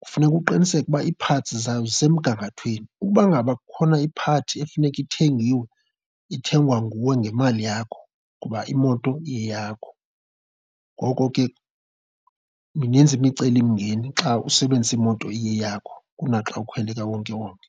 kufuneka uqiniseke uba iiphantsi zayo zisemgangathweni. Uba ngaba kukhona iphathi efuneka ithengiwe, ithengwa nguwe ngemali yakho ngoba imoto iyeyakho. Ngoko ke mininzi imicelimngeni xa usebenzisa imoto iyeyakho kunaxa ukhwele ekawonkewonke.